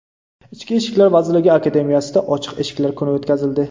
Ichki ishlar vazirligi Akademiyasida ochiq eshiklar kuni o‘tkazildi.